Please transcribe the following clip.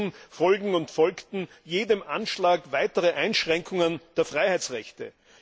Stattdessen folgten und folgen jedem Anschlag weitere Einschränkungen der Freiheitsrechte.